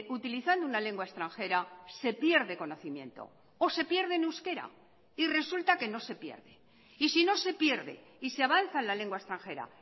utilizando una lengua extranjera se pierde conocimiento o se pierde en euskera y resulta que no se pierde y sino se pierde y se avanza en la lengua extranjera